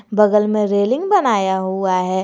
बगल में रेलिंग बनाया हुआ है।